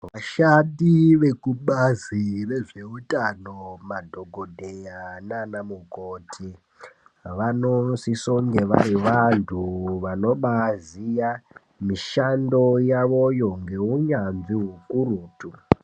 Vashandi vekubazi rezveutano madhokodheya nana mukoti, vanosisonge vari vantu vanobaziya mishando yavoyo ngeunyanzvi hukurutu.